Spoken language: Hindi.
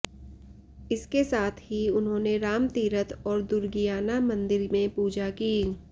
इसके साथ ही उन्होंने राम तीरथ और दुर्गियाना मंदिर में पूजा की